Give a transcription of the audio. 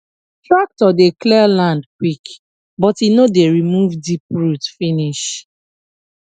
tractor dey clear land quick but e no dey remove deep root finish